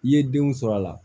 I ye denw sɔrɔ a la